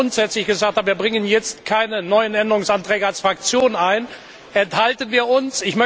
Da wir aber grundsätzlich gesagt haben, wir bringen jetzt keine neuen Änderungsanträge als Fraktion ein, enthalten wir uns.